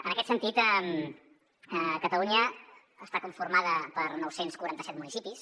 en aquest sentit catalunya està conformada per nou cents i quaranta set municipis